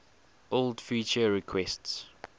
old feature requests